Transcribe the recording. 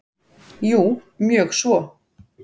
Jú, mjög svo.